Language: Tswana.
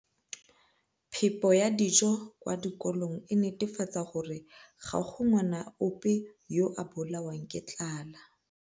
Phepo ya dijo kwa dikolong e netefatsa gore ga go ngwana ope yo a bolawang ke tlala